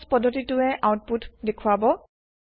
পাটছ পদ্ধতি টোৱে আউতপুত দেখুৱাব